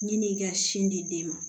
Ɲin'i ka sin di den ma